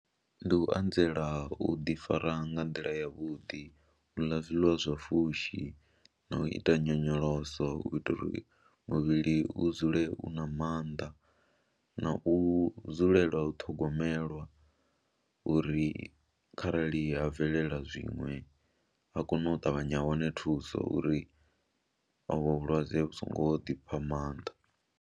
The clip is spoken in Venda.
Ndi u anzela u ḓifara nga nḓila yavhuḓi, u ḽa zwiḽiwa zwa fushi na u ita nyonyoloso u itela uri muvhili u dzule u na maanḓa na u dzulela u ṱhogomelwa uri kharali ha bvelela zwiṅwe a kone u ṱavhanya ha wane thuso uri ovhu vhulwadze vhu songo ḓi pha maanḓa.